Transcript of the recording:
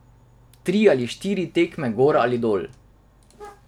Tri ali štiri tekme gor ali dol.